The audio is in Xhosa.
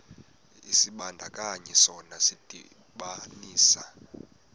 isibandakanyi sona sidibanisa